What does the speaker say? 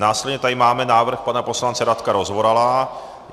Následně tady máme návrh pana poslance Radka Rozvorala.